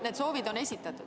Need soovid on esitatud.